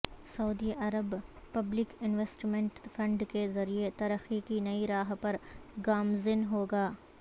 سعودی عرب public investment fund کے ذریعے ترقی کی نئی راہ پر گامزن ہو گا